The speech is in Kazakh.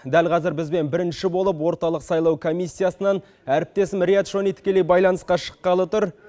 дәл қазір бізбен бірінші болып орталық сайлау комиссиясынан әріптесім риат шони тікелей байланысқа шыққалы тұр